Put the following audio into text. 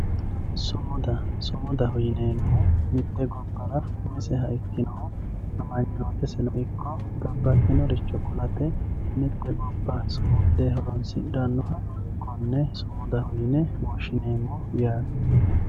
Sumuda sumudaho yineemmohu mite gobbara umisehu ikkinohu amanyoteseno ikko babbaxeworicho ku'late mite gobba sumude horonsidhanoha konne sumudaho yinne woshshineemmo yaate.